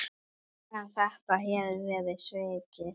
En þetta hefur verið svikið.